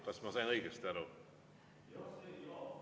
Kas ma sain õigesti aru?